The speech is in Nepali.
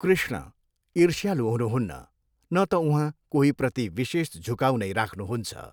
कृष्ण ईर्ष्यालु हुनुहुन्न, न त उहाँ कोहीप्रति विशेष झुकाउ नै राख्नुहुन्छ।